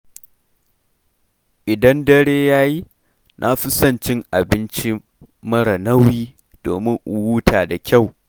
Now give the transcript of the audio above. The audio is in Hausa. Idan dare yayi, na fi son cin abinci marar nauyi, domin in huta da kyau.